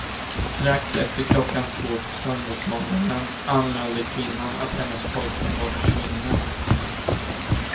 Strax efter klockan två på söndagmorgonen anmälde kvinnan att hennes pojkvän var försvunnen.